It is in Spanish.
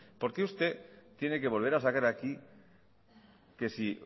por qué usted tiene que volver a sacar aquí que si